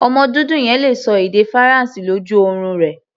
Ọmọ dúdú yẹn le ṣọ èdè Faransé lójú orun rẹ̀.